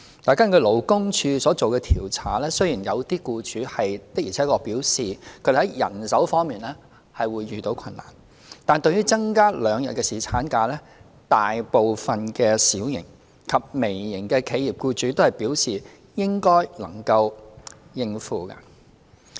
根據勞工處所作的調查，雖然有些僱主的而且確表示，他們在人手方面會遇到困難，但對於增加兩天侍產假，大部分小型及微型企業的僱主都表示應該能夠應付。